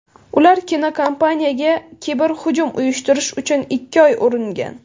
Ular kinokompaniyaga kiberhujum uyushtirish uchun ikki oy uringan.